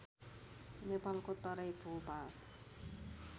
नेपालको तराई भूभाग